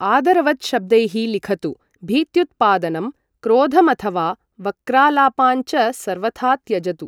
आदरवत् शब्दैः लिखतु, भीत्युत्पादनं, क्रोधमथवा वक्रालापान् च सर्वथा त्यजतु।